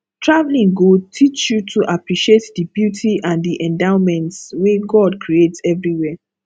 traveling go teach you to appreciate the beauty and the endowments wey god create everywhere